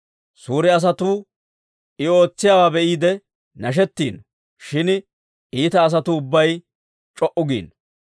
Suure asatuu I ootsiyaawaa be'iide nashettiino; shin iita asatuu ubbay c'o"u giino.